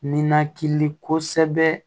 Ninakili kosɛbɛ